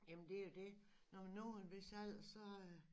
Jamen det jo et når man når en hvis alder så øh